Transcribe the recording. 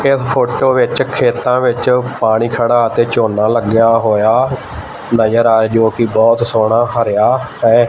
ਇਸ ਫੋਟੋ ਵਿੱਚ ਖੇਤਾਂ ਵਿੱਚ ਪਾਣੀ ਖੜਾ ਅਤੇ ਝੋਨਾ ਲੱਗਿਆ ਹੋਇਆ ਨਜ਼ਰ ਆਏ ਜੋ ਕਿ ਬਹੁਤ ਸੋਹਣਾ ਹਰਿਆ ਹੈ।